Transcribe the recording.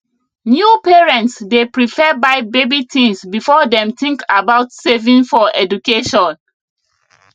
new parents dey prefer buy baby things before dem think about saving for education